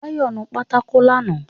Báyọ̀ nu pátákó lánàá